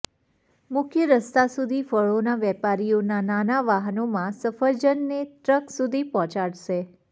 મુખ્ય રસ્તા સુધી ફળોના વેપારીઓ નાના વાહનોમાં સફરજનને ટ્રક સુધી પહોંચાડશે